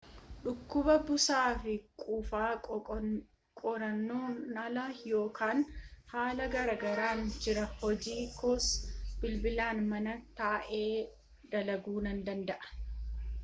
"dhukuba busaafi qufaa qoonqoon ala, yeroo kana haala gaarirran jira hojii koos bilbilaan mana taa’ee dalaguu nan danda’a